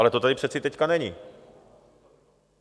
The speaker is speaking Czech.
Ale to tady přeci teď není.